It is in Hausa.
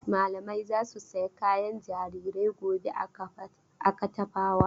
Malamai za su saya kayan jarirai gobe a Katafawa.